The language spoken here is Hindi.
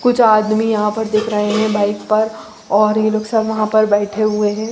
कुछ आदमी यहाँ पर दिख रहे है बाइक पर और ये लोग सब वहाँ बैठे हुए है।